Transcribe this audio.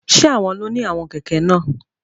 Ṣe awọn lo ní awọn kẹkẹ náà?